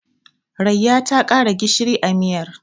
Rayya ta ƙara gishiri a miyar.